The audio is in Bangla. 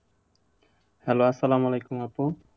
Hello আসসালামু আলাইকুম আপু।